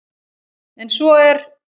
En svo er